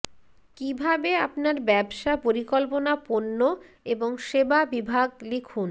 কিভাবে আপনার ব্যবসা পরিকল্পনা পণ্য এবং সেবা বিভাগ লিখুন